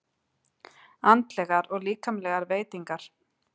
ANDLEGAR OG LÍKAMLEGAR VEITINGAR